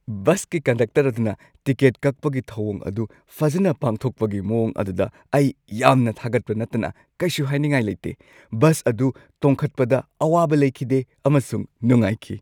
ꯕꯁꯀꯤ ꯀꯟꯗꯛꯇꯔ ꯑꯗꯨꯅ ꯇꯤꯀꯦꯠ ꯀꯛꯄꯒꯤ ꯊꯧꯋꯣꯡ ꯑꯗꯨ ꯐꯖꯅ ꯄꯥꯡꯊꯣꯛꯄꯒꯤ ꯃꯋꯣꯡ ꯑꯗꯨꯗ ꯑꯩ, ꯌꯥꯝꯅ ꯊꯥꯒꯠꯄ ꯅꯠꯇꯅ ꯀꯩꯁꯨ ꯍꯥꯏꯅꯤꯡꯉꯥꯏ ꯂꯩꯇꯦ ꯫ ꯕꯁ ꯑꯗꯨ ꯇꯣꯡꯈꯠꯄꯗ ꯑꯋꯥꯕ ꯂꯩꯈꯤꯗꯦ ꯑꯃꯁꯨꯡ ꯅꯨꯡꯉꯥꯏꯈꯤ ꯫